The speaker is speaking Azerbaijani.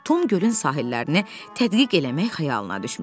Tom gölün sahillərini tədqiq eləmək xəyalına düşmüşdü.